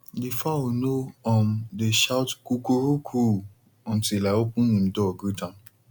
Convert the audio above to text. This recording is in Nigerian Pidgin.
di fowl no um dey shout coo coo ru cooooo until i open em door greet am